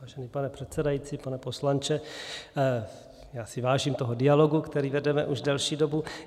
Vážený pane předsedající, pane poslanče, já si vážím toho dialogu, který vedeme už delší dobu.